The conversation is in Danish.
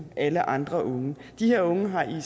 alle andre unge de her unge har